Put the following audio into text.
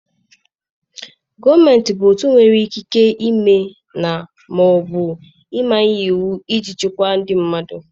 Gọọmenti bụ otu nwere ikike ime na/ma ọ bụ manye iwu iji chịkwaa ndị mmadụ.